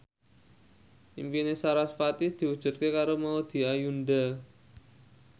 impine sarasvati diwujudke karo Maudy Ayunda